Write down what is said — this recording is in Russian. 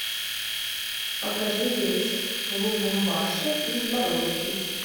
покажи рейс в лубумбаши из боровичей